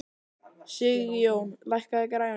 Sigjón, lækkaðu í græjunum.